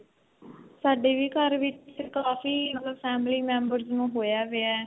ਸਾਡੇ ਵੀ ਘਰ ਵਿੱਚ ਕਾਫੀ ਮਤਲਬ family members ਨੂੰ ਹੋਇਆ ਵਿਆ